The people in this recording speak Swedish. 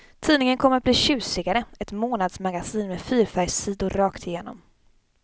Tidningen kommer att bli tjusigare, ett månadsmagasin med fyrfärgssidor rakt igenom.